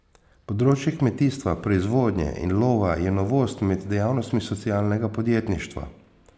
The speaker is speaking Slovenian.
Področje kmetijstva, proizvodnje in lova je novost med dejavnostmi socialnega podjetništva.